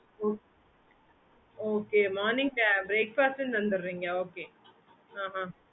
okay mam